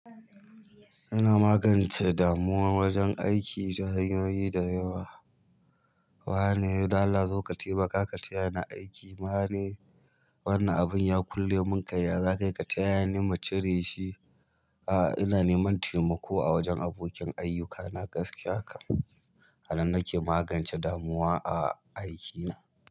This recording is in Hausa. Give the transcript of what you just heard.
Ina magance damuwa wajen aiki ta hanyoyi da yawa. Wane dala zo ka taimaka ka taya ni aiki. Mane wannan abun ya kulle mun kai, za kai ka taya ni mu cire shi. A'a, ina neman taimako a wajen abokin ayyukana gaskiya kan. Hali nake magance damuwa a aikina.